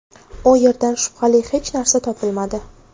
U yerdan shubhali hech narsa topilmadi.